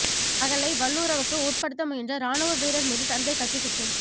மகளை வல்லுறவுக்கு உட்படுத்த முயன்ற இராணுவ வீரர் மீது தந்தை கத்திக்குத்து